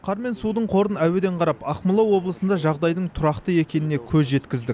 қар мен судың қорын әуеден қарап ақмола облысында жағдайдың тұрақты екеніне көз жеткіздік